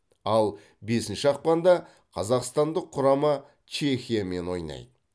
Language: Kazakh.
ал бесінші ақпанда қазақстандық құрама чехиямен ойнайды